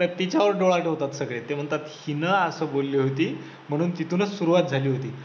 तर तिच्या वर डोळा ठेवतात सगळे ते म्हणतात, हिने असं बोलली होती, म्हणून तिथूनच सुरुवात झाली होती.